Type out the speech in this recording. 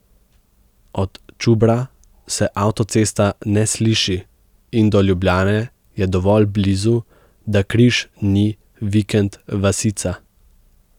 Od Čubra se avtocesta ne sliši in do Ljubljane je dovolj blizu, da Križ ni vikend vasica.